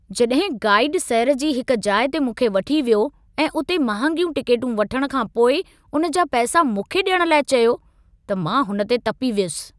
जॾहिं गाइड सैर जी हिक जाइ ते मूंखे वठी वियो ऐं उते महांगियूं टिकेटूं वठण खां पोइ उन जा पैसा मूंखे ॾियण लाइ चयो, त मां हुन ते तपी वियुसि।